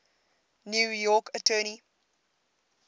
new york attorney